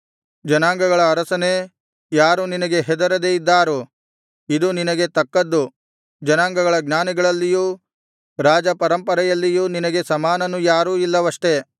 ಜನಾಂಗಗಳ ಅರಸನೇ ಯಾರು ನಿನಗೆ ಹೆದರದೆ ಇದ್ದಾರು ಇದು ನಿನಗೆ ತಕ್ಕದ್ದು ಜನಾಂಗಗಳ ಜ್ಞಾನಿಗಳಲ್ಲಿಯೂ ರಾಜಪರಂಪರೆಯಲ್ಲಿಯೂ ನಿನಗೆ ಸಮಾನನು ಯಾರೂ ಇಲ್ಲವಷ್ಟೆ